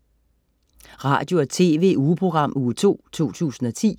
Radio- og TV-ugeprogram Uge 2, 2010